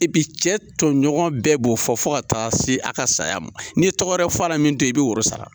cɛ tɔɲɔgɔn bɛɛ b'o fɔ fo ka taa se a ka saya ma, n'i ye tɔgɔ wɛrɛ f'a la min t'o ye i bɛ woro sara.